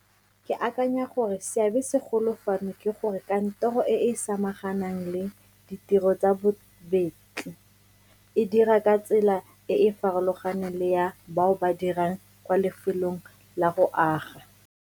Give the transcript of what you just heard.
Ke akanya gore seabesegolo fano ke gore kantoro e e samaganang le ditiro tsa bobetli e dira ka tsela e e farologaneng le ya bao ba dirang kwa lefelong la go aga.